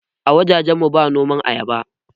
A wajajen mu ba noman ayaba ba